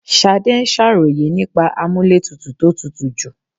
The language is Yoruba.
Ṣadé ń ṣàròyè nípa amúlétutù tó tútù jù.